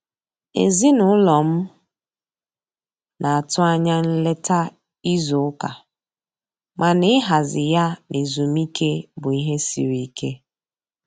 Ezinụlọ m na-atụ anya nleta izu ụka, mana ịhazi ya na ezumike bụ ihe siri ike.